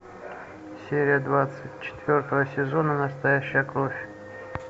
серия двадцать четвертого сезона настоящая кровь